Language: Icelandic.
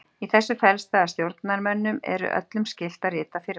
Í þessu felst það að stjórnarmönnum eru öllum skylt að rita firma.